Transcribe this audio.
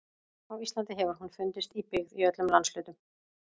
Á Íslandi hefur hún fundist í byggð í öllum landshlutum.